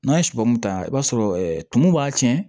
N'an ye sɔmun ta i b'a sɔrɔ tumu b'a tiɲɛ